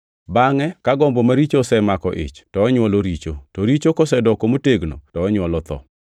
Bangʼe ka gombo maricho osemako ich to onywolo richo; to richo kosedoko motegno to onywolo tho.